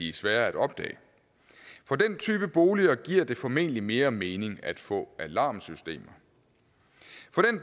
er svære at opdage for den type boliger giver det formentlig mere mening at få alarmsystemer